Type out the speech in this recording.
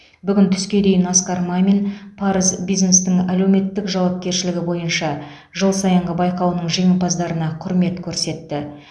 бүгін түске дейін асқар мамин парыз бизнестің әлеуметтік жауапкершілігі бойынша жыл сайынғы байқауының жеңімпаздарына құрмет көрсетті